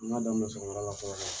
An ka daminɛ sɔgɔmada la fɔlɔ bani